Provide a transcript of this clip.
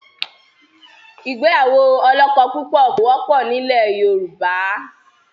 Ìgbéyàwó ọlọ́kọ̀púpọ̀ kò wọ́pọ̀ ni ilẹ̀ Yorùbá.